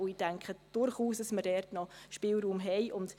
Ich denke, dass wir dort durchaus noch Spielraum haben.